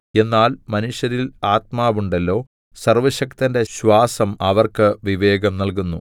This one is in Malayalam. എന്നാൽ മനുഷ്യരിൽ ആത്മാവുണ്ടല്ലോ സർവ്വശക്തന്റെ ശ്വാസം അവർക്ക് വിവേകം നല്കുന്നു